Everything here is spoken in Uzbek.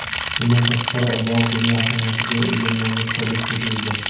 Bundan tashqari, bog‘ dunyo ahamiyatiga ega noyob kolleksiyaga ega.